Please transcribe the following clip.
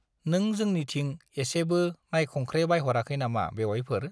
नों जोंनिथिं एसेबो नायखंख्रेबायहराखै नामा बेउवाइफोर?